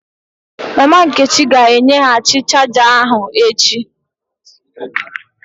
Mama nkechi ga-enyeghachi chaja ahu echi